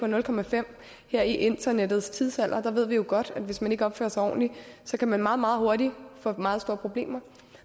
nul komma fem her i internettets tidsalder ved vi jo godt at hvis man ikke opfører sig ordentligt kan man meget meget hurtigt få meget store problemer